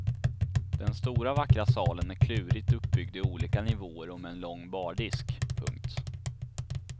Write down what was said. Den stora vackra salen är klurigt uppbyggd i olika nivåer och med en lång bardisk. punkt